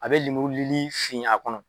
A bɛ lemuru lili fin a kɔnɔ.